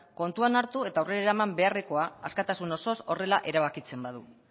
kontuan hartu eta aurrera eraman beharrekoa askatasun osoz horrela erabakitzen badu